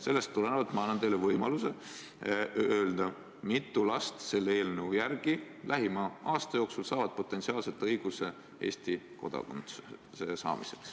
Sellest tulenevalt ma annan teile võimaluse öelda, kui mitu last selle eelnõu järgi lähima aasta jooksul saavad potentsiaalselt õiguse Eesti kodakondsuse saamiseks.